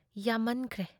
ꯌꯥꯝꯃꯟꯈ꯭ꯔꯦ ꯫